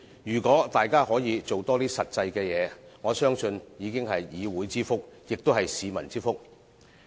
如果大家可以多做實際的事，我相信已經是議會之福，也是市民之福。